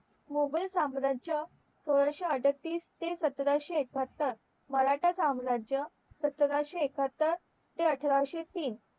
मुघल साम्राज्य सोळाशे अडतीस ते सतराशे एकाहत्तर मराठा साम्राज्य सतराशे एकाहत्तर ते अठराशे तीन